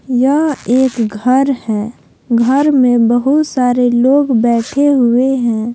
यह एक घर हैं घर में बहुत सारे लोग बैठे हुए हैं।